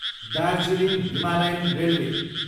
Darjeeling Himalayan railway